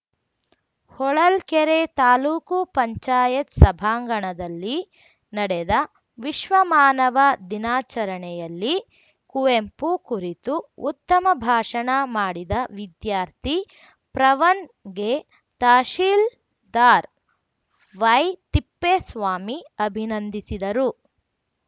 ಹೊಳಲ್ಕೆರೆ ತಾಲೂಕು ಪಂಚಾಯತ್ ಸಭಾಂಗಣದಲ್ಲಿ ನಡೆದ ವಿಶ್ವಮಾನವ ದಿನಾಚರಣೆಯಲ್ಲಿ ಕುವೆಂಪು ಕುರಿತು ಉತ್ತಮ ಭಾಷಣ ಮಾಡಿದ ವಿದ್ಯಾರ್ಥಿ ಪ್ರವನ್‌ಗೆ ತಹಶೀಲ್ದಾರ್‌ ವೈತಿಪ್ಪೇಸ್ವಾಮಿ ಅಭಿನಂದಿಸಿದರು